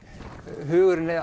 hugurinn